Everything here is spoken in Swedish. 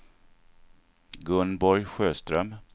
Gunborg Sjöström